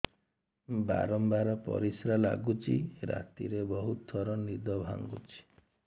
ବାରମ୍ବାର ପରିଶ୍ରା ଲାଗୁଚି ରାତିରେ ବହୁତ ଥର ନିଦ ଭାଙ୍ଗୁଛି